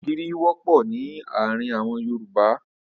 Ògìrì wọ́pọ̀ ní àárín àwọn Yorùbá.